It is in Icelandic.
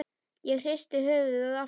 Ég hristi höfuðið aftur.